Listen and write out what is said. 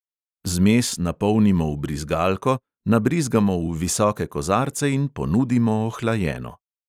Zmes napolnimo v brizgalko, nabrizgamo v visoke kozarce in ponudimo ohlajeno.